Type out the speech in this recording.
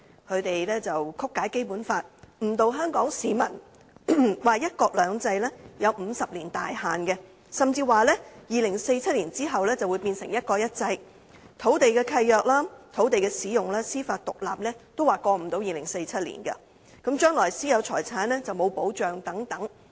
他們曲解《基本法》，誤導香港市民，說"一國兩制"有50年大限，甚至說在2047年後便會變成"一國一制"，土地契約、土地使用、司法獨立也不能超越2047年，將來私有財產並沒有保障等。